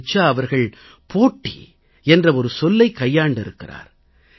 ரிச்சா அவர்கள் போட்டி என்ற சொல்லைக் கையாண்டிருக்கிறார்